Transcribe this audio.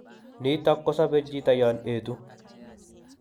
Nitok kosobe chito yon etu